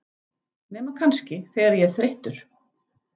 Nema kannski, þegar ég er þreyttur.